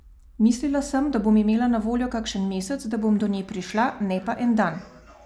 Mislila sem, da bom imela na voljo kakšen mesec, da bom do nje prišla, ne pa en dan.